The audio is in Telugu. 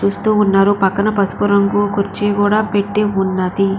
చూస్తూ ఉన్నారు పక్కన పసుపు రంగు కుర్చీ కూడా పెట్టి ఉన్నది.